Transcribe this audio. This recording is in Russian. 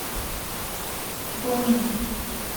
гонин